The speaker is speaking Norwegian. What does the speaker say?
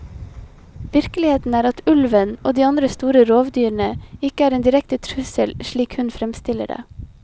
Virkeligheten er at ulven og de andre store rovdyrene ikke er en direkte trussel, slik hun fremstiller det.